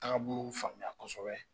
Tagabolo faamuya kosɛbɛ